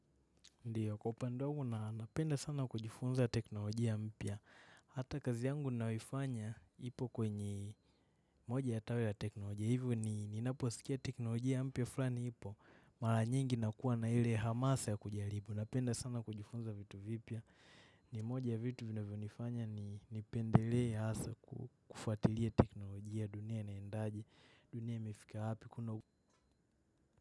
Ndio kwa upande wangu na napenda sana kujifunza teknolojia mpya. Hata kazi yangu nayoifanya ipo kwenye moja ya tawi ya teknolojia. Hivyo ni naposikia teknolojia mpya fulani ipo. Mara nyingi nakuwa na ile hamasa ya kujaribu. Napenda sana kujifunza vitu vipya. Ni moja ya vitu vinavyonifanya nipendelee hasa kufuatilia teknolojia dunia inaedaje. Dunia imefika wapi.